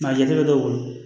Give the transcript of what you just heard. Nka a jateminɛ dɔw